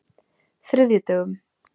þriðjudögum